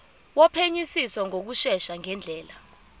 wophenyisiso ngokushesha ngendlela